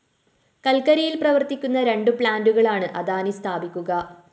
കല്‍ക്കരിയില്‍ പ്രവര്‍ക്കുന്ന രണ്ട് പ്ലാന്റുകളാണ് അദാനി സ്ഥാപിക്കുക